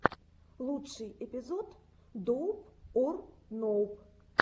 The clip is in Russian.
лучший эпизод доуп ор ноуп